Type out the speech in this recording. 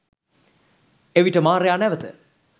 එවිට මාරයා නැවත